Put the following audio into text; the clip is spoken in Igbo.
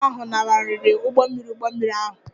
Ndị ọrụ ahụ lanarịrị ụgbọ mmiri ụgbọ mmiri ahụ